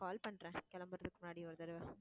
call பண்றேன் கிளம்பறதுக்கு முன்னாடி ஒரு தடவை.